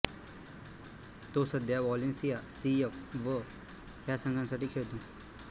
तो सध्या Valencia C F व ह्या संघांसाठी खेळतो